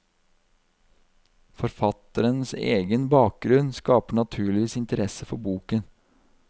Forfatterens egen bakgrunn skaper naturligvis interesse for boken.